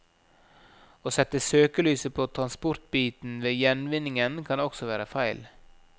Å sette søkelyset på transportbiten ved gjenvinningen kan også være feil.